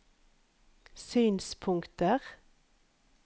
synspunkter